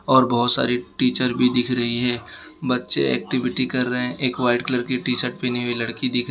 और बहुत सारी टीचर भी दिख रही है बच्चे एक्टिविटी कर रहे हैं एक वाइट कलर की टी_शर्ट पहनी हुई लड़की दिख रही है।